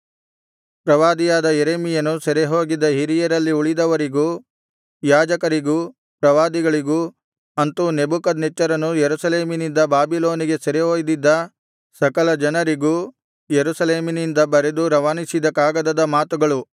ಪ್ರವಾದಿಯಾದ ಯೆರೆಮೀಯನು ಸೆರೆಹೋಗಿದ್ದ ಹಿರಿಯರಲ್ಲಿ ಉಳಿದವರಿಗೂ ಯಾಜಕರಿಗೂ ಪ್ರವಾದಿಗಳಿಗೂ ಅಂತು ನೆಬೂಕದ್ನೆಚ್ಚರನು ಯೆರೂಸಲೇಮಿನಿಂದ ಬಾಬಿಲೋನಿಗೆ ಸೆರೆ ಒಯ್ದಿದ್ದ ಸಕಲ ಜನರಿಗೂ ಯೆರೂಸಲೇಮಿನಿಂದ ಬರೆದು ರವಾನಿಸಿದ ಕಾಗದದ ಮಾತುಗಳು